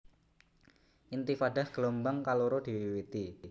Intifadah gelombang kaloro diwiwiti